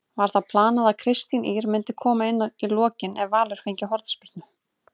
Var það planað að Kristín Ýr myndi koma inná í lokin ef Valur fengi hornspyrnu?